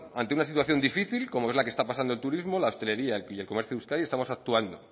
ante una situación difícil como es la que está pasando el turismo la hostelería y el comercio de euskadi estamos actuando